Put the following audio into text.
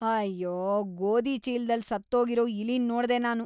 ಅಯ್ಯೋ! ಗೋಧಿ ಚೀಲ್ದಲ್ಲಿ ಸತ್ತೋಗಿರೋ ಇಲಿನ್‌ ನೋಡ್ದೆ ನಾನು.